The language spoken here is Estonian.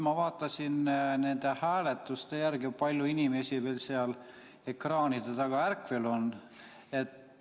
Ma vaatasin nende hääletuste järgi, kui palju inimesi veel seal ekraanide taga ärkvel on.